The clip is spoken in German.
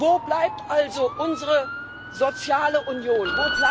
Wo bleibt also unsere soziale Union?